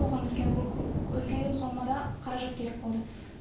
оған үлкен үлкен сомада қаражат керек болды